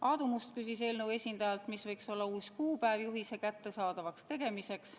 Aadu Must küsis eelnõu esindajalt, mis võiks olla uus kuupäev juhise kättesaadavaks tegemiseks.